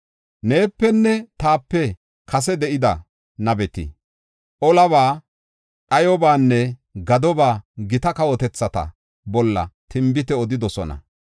Neepenne taape kase de7ida nabeti, olaba, dhayobanne gadoba gita kawotethata bolla tinbite odidosona.